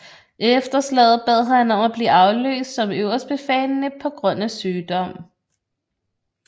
Efter slaget bad han om at blive afløst som øverstbefalende på grund af sygdom